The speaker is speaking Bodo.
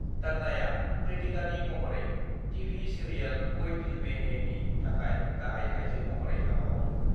तन्नाआ कृतिकानि महरै टि.भि. सिरियाल कोई दिल में है नि थाखाय गाहाय आइजो महरै हाबा मावदोंमोन।